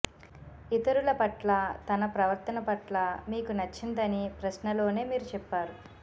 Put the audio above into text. ఇతరుల పట్ల తన ప్రవర్తన పట్ల మీకు నచ్చిందని ప్రశ్నలోనే మీరు చెప్పారు